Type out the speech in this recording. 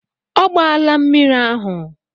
Ọ gbaala mmiri ahụ.